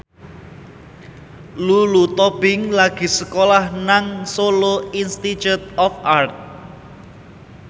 Lulu Tobing lagi sekolah nang Solo Institute of Art